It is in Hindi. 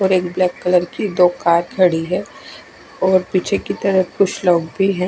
और एक ब्लैक कलर की दो कार खड़ी है और पीछे की तरफ कुछ लोग भी ह--